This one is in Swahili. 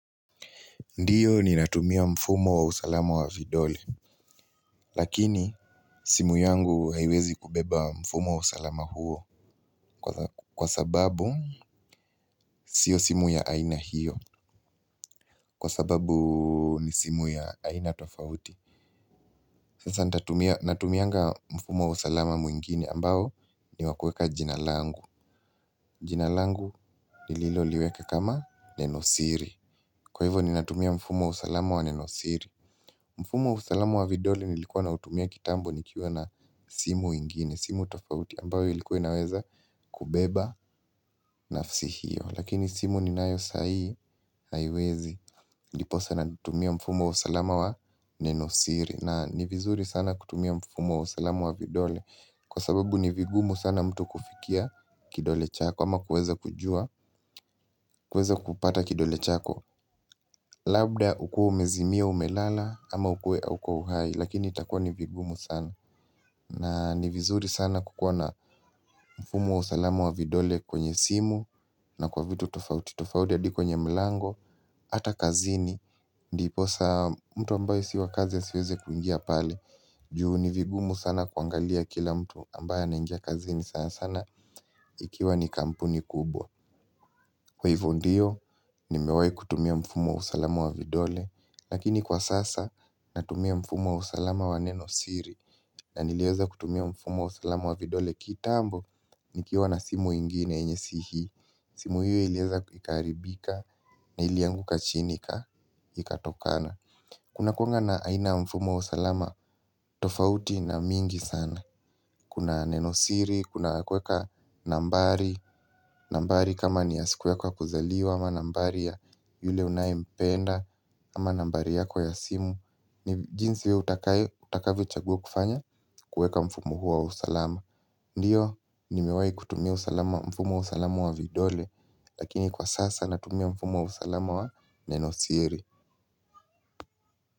Ndiyo ni natumia mfumo wa usalama wa vidole, lakini simu yangu haiwezi kubeba mfumo wa usalama huo kwa sababu sio simu ya aina hiyo, kwa sababu ni simu ya aina tofauti. Sasa natumia mfumo wa usalama mwingine ambao ni wakueka jina langu. Jinalangu ni lilo liweka kama nenosiri. Kwa hivo ni natumia mfumo wa usalama wa nenosiri. Mfumo wa usalamu wa vidoli nilikuwa na utumia kitambo nikiwa na simu ingine, simu tofauti ambayo ilikuwa inaweza kubeba nafsihio. Lakini simu ni nayo sai, haiwezi, ndiposa na tumia mfumo wa usalamu wa nenosiri. Na ni vizuri sana kutumia mfumo usalamu wa vidoli kwa sababu ni vigumu sana mtu kufikia kidole chako ama kuweza kujua, kuweza kupata kidole chako. Labda ukuwe umezimia umelala ama ukue hauko uhai lakini itakua nivigumu sana na nivizuri sana kukuwana mfumu wa usalamu wa vidole kwenye simu na kwa vitu tofauti tofaudi hadi kwenye mlango, hata kazini Ndiposa mtu ambaye si wa kazi siweze kuingia pale juu nivigumu sana kuangalia kila mtu ambaye anaingia kazini sana sana ikiwa ni kampuni kubwa Kwa hivo ndiyo nimewahi kutumia mfumo wa usalamu wa vidole lakini kwa sasa natumia mfumo wa usalama wa neno siri na niliweza kutumia mfumo wa usalama wa vidole kitambo nikiwa na simu ingine yenye si hii simu hio ilieza ikaharibika nilianguka chini ika ikatokana Kuna kuwanga na aina mfumo wa usalama tofauti na mingi sana Kuna neno siri, kuna kuweka nambari nambari kama ni ya siku yako ya kuzaliwa ama nambari ya yule unaye mpenda ama nambari yako ya simu ni jinsi utakavyo chaguwa kufanya kueka mfumu huwo wa usalama ndiyo nimewahi kutumia usalama mfumo wa usalama wa vidole lakini kwa sasa natumia mfumo wa usalama wa nenosiri.